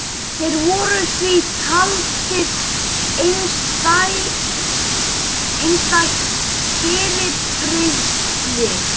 Þeir voru því taldir einstætt fyrirbrigði.